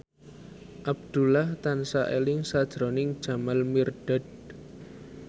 Abdullah tansah eling sakjroning Jamal Mirdad